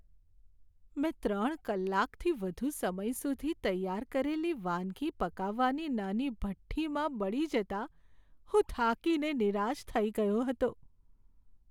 મેં ત્રણ કલાકથી વધુ સમય સુધી તૈયાર કરેલી વાનગી પકાવવાની નાની ભઠ્ઠીમાં બળી જતાં હું થાકીને નિરાશ થઈ ગયો હતો.